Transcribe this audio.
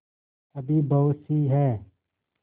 अभी बहुतसी हैं